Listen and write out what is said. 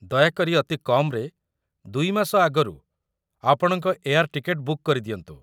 ଦୟାକରି ଅତି କମ୍‌ରେ ୨ ମାସ ଆଗରୁ ଆପଣଙ୍କ ଏୟାର୍‌ ଟିକେଟ୍‌ ବୁକ୍ କରି ଦିଅନ୍ତୁ ।